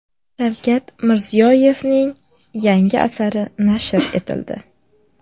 Shavkat Mirziyoyevning yangi asari nashr etildi.